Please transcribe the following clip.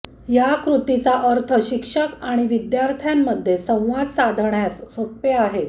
या कृतीचा अर्थ शिक्षक आणि विद्यार्थ्यांमध्ये संवाद साधण्यास सोपे आहे